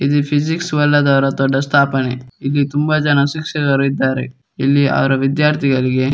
ಇದ್ ಫಿಸಿಕ್ಸ್ ಒಳ್ಳೆದರ ದೊಡ್ಡ ಸ್ಥಾಪನೆ. ಇಲ್ಲಿ ತುಂಬಾ ಜನ ಶಿಕ್ಷಕರು ಇದ್ದಾರೆ. ಇಲ್ಲಿ ಅವ್ರ ವಿದ್ಯಾರ್ಥಿಗಳಿಗೆ --